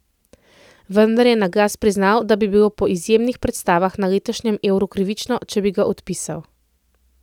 Vendar je na glas priznal, da bi bilo po izjemnih predstavah na letošnjem euru krivično, če bi ga odpisal.